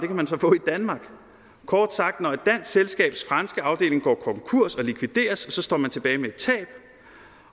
kan man så få i danmark kort sagt når et dansk selskabs franske afdeling går konkurs og likvideres står man tilbage med et tab